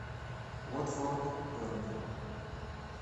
уотфорд бернли